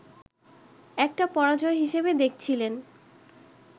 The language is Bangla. একটা পরাজয় হিসাবে দেখছিলেন